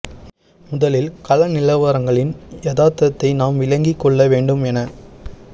முதலில் கள நிலவரங்களின் யதார்த்தத்தை நாம் விளங்கிக் கொள்ள வேண்டும் என